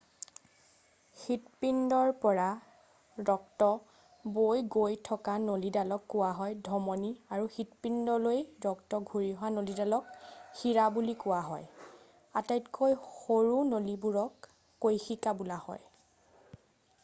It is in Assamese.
হৃৎপিণ্ডৰ পৰা ৰক্ত বৈ গৈ থকা নলীডালক কোৱা হয় ধমনী আৰু হৃৎপিণ্ডলৈ ৰক্ত ঘূৰি অহা নলীডালক সিৰা বুলি কোৱা হয়। আটাইতকৈ সৰু নলীবোৰক কৈশিকা বোলা হ'য়।